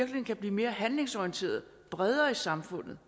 kan blive mere handlingsorienteret bredere i samfundet